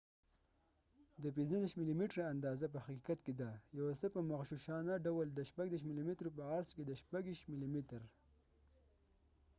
د ۳۵ ملي ميټره اندازه په حقیقت کې ده، یو څه په مغشوشانه ډول، د ۳۶ ملي مترو په عرض کې د ۲۴ ملي میتر۔